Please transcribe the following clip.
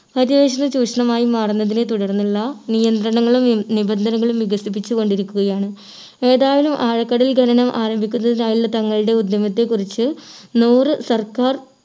അധിനിവേഷണ ചൂഷണമായി മാറുന്നതിനെ തുടർന്നുള്ള നിയന്ത്രണങ്ങളും നിബ നിബന്ധനങ്ങളും വികസിപ്പിച്ചു കൊണ്ടിരിക്കുകയാണ് ഏതായാലും ആഴക്കടൽ ഖനനം ആരംഭിക്കുന്നതിനായുള്ള തങ്ങളുടെ ഉദ്ധ്യമത്തെ കുറിച്ച് നെഹ്‌റു സർക്കാർ